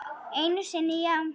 Einu sinni já.